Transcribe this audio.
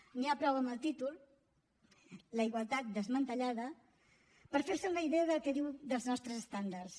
n’hi ha prou amb el títol la igualtat desmantellada per fer se una idea del que diu dels nostres estàndards